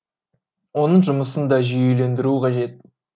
оның жұмысын да жүйелендіру қажет